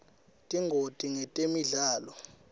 tingoti ngetemidlalo